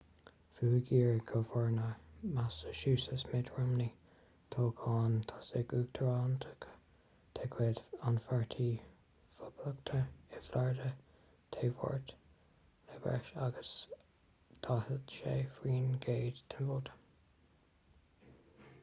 bhuaigh iar-ghobharnóir massachusetts mitt romney toghchán tosaigh uachtaránachta de chuid an pháirtí phoblachtánaigh i florida dé máirt le breis agus 46 faoin gcéad den vóta